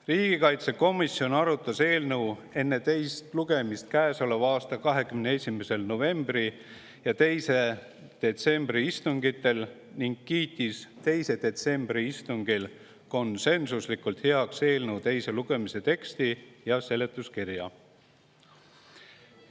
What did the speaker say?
Riigikaitsekomisjon arutas eelnõu enne teist lugemist käesoleva aasta 21. novembri ja 2. detsembri istungil ning kiitis 2. detsembri istungil konsensuslikult heaks eelnõu teise lugemise teksti ja seletuskirja.